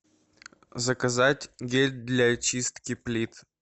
заказать гель для очистки плит